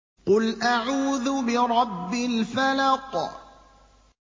قُلْ أَعُوذُ بِرَبِّ الْفَلَقِ